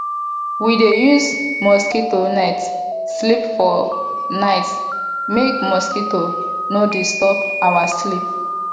we dey use mosquito net sleep for night make mosquito no disturb our sleep